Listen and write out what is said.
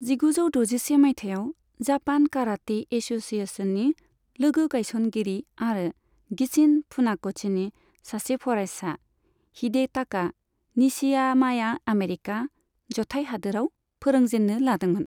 जिगुजौ द'जिसे मायथाइयाव, जापान काराटे एस'सिएशननि लोगो गायसनगिरि आरो गिचिन फुनाक'शीनि सासे फरायसा, हिडेटाका निशियामाया आमेरिका जथाय हादोराव फोरोंजेन्नो लादोंमोन।